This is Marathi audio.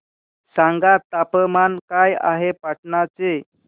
सांगा तापमान काय आहे पाटणा चे